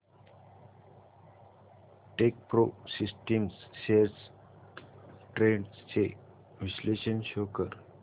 Techpro systems shares trends चे विश्लेषण show कर